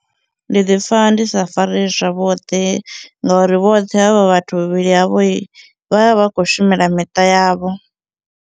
Ndi ḓipfha ndisa fareyi zwavhudi ngauri vhoṱhe havha vhathu vhavhili havho vha vha vha khou shumela miṱa yavho.